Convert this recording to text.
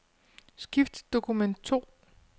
Skift til dokument to.